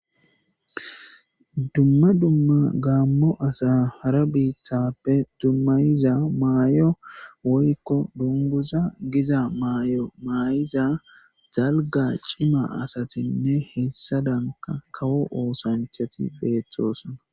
Dumma dumma gaammo asa hara biithappe dummayiza maayo woykko dunguza giza maay'o maay'iza dalga cima asatinne hessadanka kawo oosanchati beettoosna.